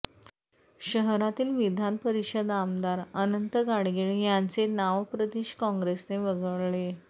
शहरातील विधान परिषद आमदार अनंत गाडगीळ यांचे नाव प्रदेश काँग्रेसने वगळले